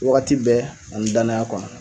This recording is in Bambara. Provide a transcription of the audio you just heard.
Wagati bɛɛ a min danaya kɔnɔ